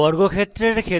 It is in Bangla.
ইউসার থেকে ইনপুট নিয়ে